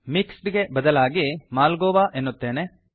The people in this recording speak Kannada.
ಮಿಕ್ಸ್ಡ್ ಬದಲಾಗಿ ಮಾಲ್ಗೋಆ ಎನ್ನುತ್ತೇನೆ